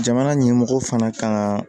Jamana ɲɛmɔgɔ fana kan ka